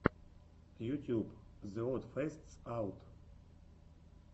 ютюб зе од фестс аут